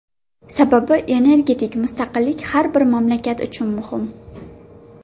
Sababi, energetik mustaqillik har bir mamlakat uchun muhim.